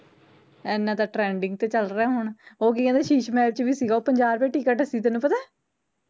ਏਨਾਂ ਤਾਂ trending ਤੇ ਚੱਲ ਰਿਹਾ ਹੁਣ, ਉਹ ਕੀ ਕਹਿੰਦੇ ਸ਼ੀਸ਼ ਮਹਿਲ ਚ ਵੀ ਸੀਗਾ ਪੰਜਾਹ ਰੁਪਏ ਟਿਕਟ ਸੀਗੀ ਤੈਨੂੰ ਪਤਾ ਐ